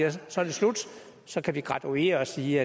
at så er det slut så kan vi graduere og sige